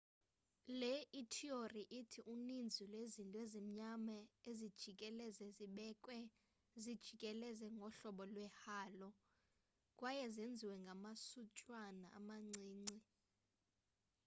le ithiyori ithi uninzi lwezinto ezimnyama ezijikeleze zibekwe zijikeleze ngohlobo lwe-halo kwaye zenziwe ngamasuntswana amancinci